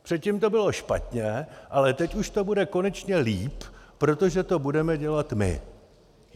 Předtím to bylo špatně, ale teď už to bude konečně líp, protože to budeme dělat my.